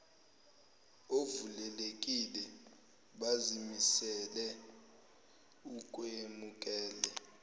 ovulelekile bazimisele ukwemukela